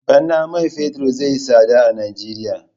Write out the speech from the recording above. Bana man fetur zai yi tsada a Nijeriya.